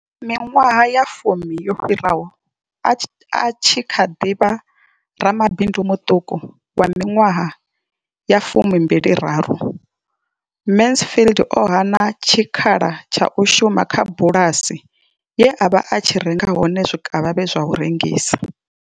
Miṅwaha ya fumi yo fhiraho, a tshi kha ḓi vha ramabindu muṱuku wa miṅwaha ya fumi mbili raru, Mansfield o hana tshikhala tsha u shuma kha bulasi ye a vha a tshi renga hone zwikavhavhe zwa u rengisa.